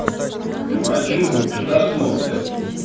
но один хуй пустослов блядь